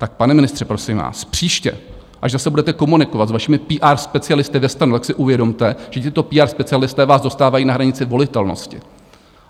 Tak, pane ministře, prosím vás, příště až zase budete komunikovat s vašimi PR specialisty ve STAN, tak si uvědomte, že tito PR specialisté vás dostávají na hranici volitelnosti.